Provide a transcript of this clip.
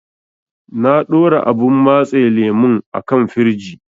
Na ɗora abun matse lemun a kan firij.